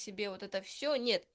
себе вот это всё нет